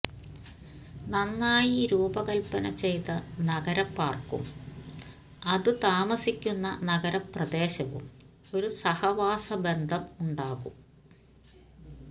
നന്നായി രൂപകൽപ്പന ചെയ്ത നഗര പാർക്കും അതു താമസിക്കുന്ന നഗരപ്രദേശവും ഒരു സഹവാസ ബന്ധം ഉണ്ടാകും